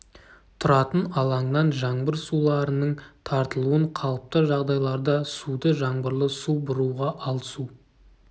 тұратын алаңнан жаңбыр суларының тартылуын қалыпты жағдайларда суды жаңбырлы су бұруға ал су